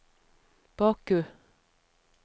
Baku